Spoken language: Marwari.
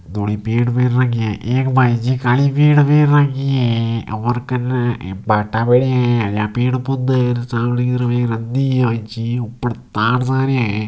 दो पेड़ लगी है एक बाई जी खड़ी है और कने भाटा पड़िया है और पेड़ पौधा है ऊपर तार जा रिया है।